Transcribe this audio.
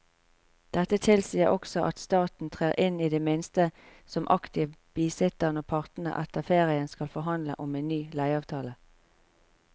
Dette tilsier også at staten trer inn i det minste som aktiv bisitter når partene etter ferien skal forhandle om en ny leieavtale.